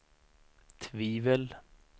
tvivel